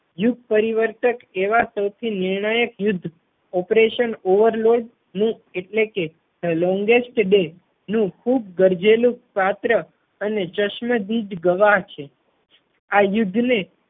યુગ પરિવર્તક એવા સૌથી નિર્ણાયક યુદ્ધ operation overload નું એટલે કે longest bay ખૂબ ગરજેલું પાત્ર અને ચશ્મદિત ગવાહ છે. આ યુદ્ધ ને